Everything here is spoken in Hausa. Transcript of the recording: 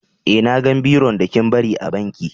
Eh, na gan biron da kin bari a banki.